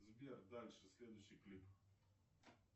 сбер дальше следующий клип